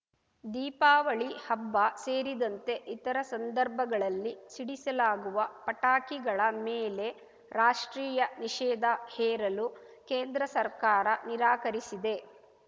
ದೀಪಾವಳಿ ಹಬ್ಬ ಸೇರಿದಂತೆ ಇತರ ಸಂದರ್ಭಗಳಲ್ಲಿ ಸಿಡಿಸಲಾಗುವ ಪಟಾಕಿಗಳ ಮೇಲೆ ರಾಷ್ಟ್ರೀಯ ನಿಷೇಧ ಹೇರಲು ಕೇಂದ್ರ ಸರ್ಕಾರ ನಿರಾಕರಿಸಿದೆ